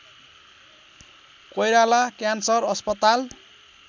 Koirala cancer अस्पताल